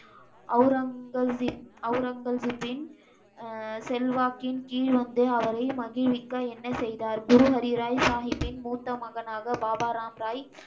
அவுரங்கசிப், அவுரங்கசிப்பின் அஹ் செல்வாக்கின் கீழ் வந்து அவரை மகிழ்விக்க என்ன செய்தார்? குரு ஹரி ராய் சாஹீபின் மூத்த மகனாக பாபா ராம் ராய்,